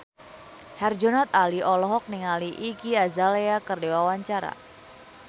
Herjunot Ali olohok ningali Iggy Azalea keur diwawancara